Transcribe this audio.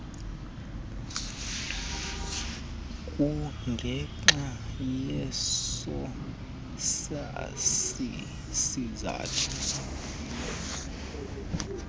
kungenxa yeso sizathu